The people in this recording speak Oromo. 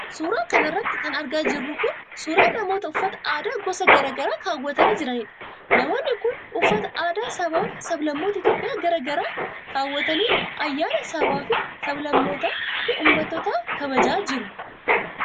Suura kana irratti kan argaa jirru kun, suura namoota uffata aadaa gosa garaa garaa kaawwatanii jiraniidha. Namoonni kun, uffata aadaa sabaa fi sablammoota Itoophiyaa graa garaa kaawwatanii, ayyaana sabaa fi sablammootaa fi uummattootaa kabajaa jiru.